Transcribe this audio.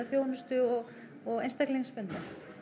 þjónustu og og einstaklingsbundnu